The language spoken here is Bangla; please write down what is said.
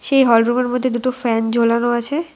সেই হল রুমের মধ্যে দুটো ফ্যান ঝোলানো আছে।